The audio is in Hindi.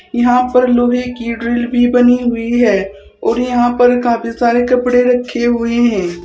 यहां पर लोहे की ड्रिल भी बनी हुई है और यहां पर काफी सारे कपड़े रखे हुए है।